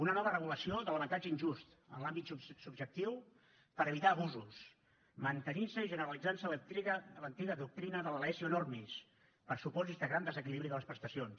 una nova regulació de l’avantatge injust en l’àmbit subjectiu per evitar abusos mantenintse i generalitzantse l’antiga doctrina de la laesio enormis per supòsits de grans desequilibris de les prestacions